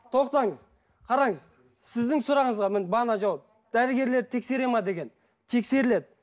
тоқтаңыз қараңыз сіздің сұрағыңызға міне бағана жауап дәрігерлерді тексереді ме деген тексеріледі